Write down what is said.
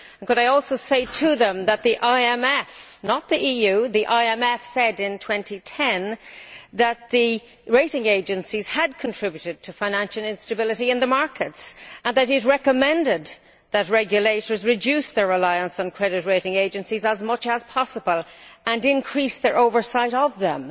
Could I also say to them that the IMF not the EU, the IMF said in 2010 that the rating agencies had contributed to financial instability in the markets, and that it recommended that regulators reduce their reliance on credit rating agencies as much as possible and increase their oversight of them.